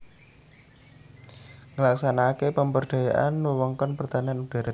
Nglaksanakaké pemberdayaan wewengkon pertahanan udhara